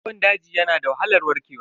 Ciwon daji yana da wahalar warkewa.